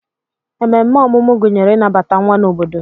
Ememe ọmụmụ gụnyere ịnabata nwa n'obodo